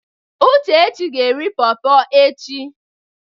Uchechi ga eri pọrpọr echi.